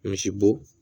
Misibo